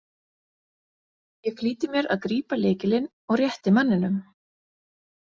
Ég flýti mér að grípa lykilinn og rétti manninum.